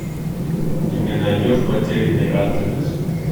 ты мне найдешь потерянный анджелес